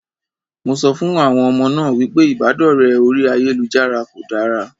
Mo sọ fún àwọn ọmọ náà wípé ìbádọ̀rẹ́ orí ayélujára kò dára.